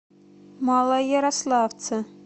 малоярославце